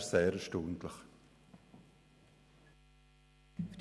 Das erstaunt mich sehr.